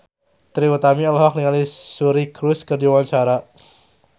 Trie Utami olohok ningali Suri Cruise keur diwawancara